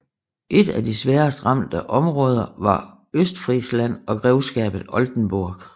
Et af de sværest ramte områder var Østfrisland og grevskabet Oldenburg